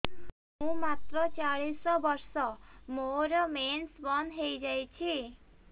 ମୁଁ ମାତ୍ର ଚାଳିଶ ବର୍ଷ ମୋର ମେନ୍ସ ବନ୍ଦ ହେଇଯାଇଛି